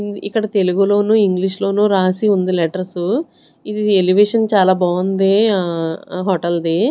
ఇక్కడ తెలుగులోను ఇంగ్లీషులోను రాసి ఉంది లెటర్సు ఇది ఎలివేషన్ చాలా బాంది ఆ ఆ హోటల్ది .